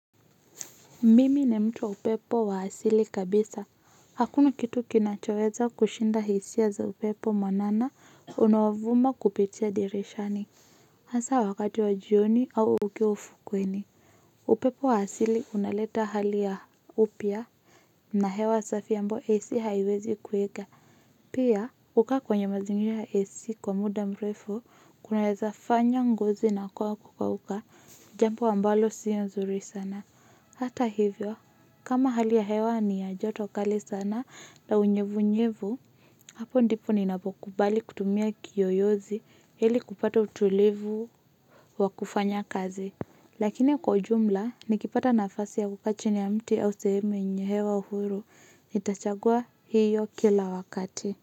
Mimi ni mtu wa upepo wa asili kabisa. Hakuna kitu kinachoweza kushinda hisia za upepo mwanana unaovuma kupitia dirishani. Hasa wakati wa jioni au ukiwa ufukweni. Upepo wa asili unaleta hali ya upya. Na hewa safi ambayo AC haiwezi kuweka. Pia, kukaa kwenye mazingira ya AC kwa muda mrefu kunaweza fanya ngozi inakuwa ya kukauka jambo ambalo sio nzuri sana. Hata hivyo, kama hali ya hewa ni ya joto kali sana na unyevu nyevu, hapo ndipo ninapokubali kutumia kiyoyozi ili kupata utulivu wa kufanya kazi. Lakini kwa ujumla, nikipata nafasi ya kukaa chini ya mti au sehemu yenye hewa uhuru, nitachagua hiyo kila wakati.